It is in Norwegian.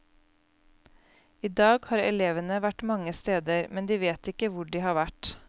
I dag har elevene vært mange steder, men de vet ikke hvor de har vært.